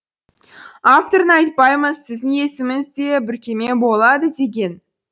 авторын айтпаймыз сіздің есіміңіз де бүркеме болады деген